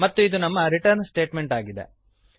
ಮತ್ತು ಇದು ನಮ್ಮ ರಿಟರ್ನ್ ಸ್ಟೇಟಮೆಂಟ್ ಆಗಿದೆ